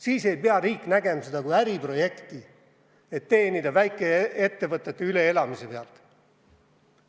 Siis aga ei pea riik võtma seda kui äriprojekti, et teenida väikeettevõtete üleelamiste pealt.